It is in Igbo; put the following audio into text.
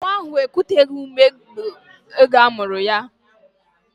Nwa ahụ ekuteghi ume n'oge mgbe amuru ya